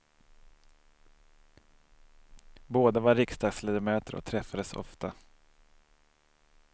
Båda var riksdagsledamöter och träffades ofta.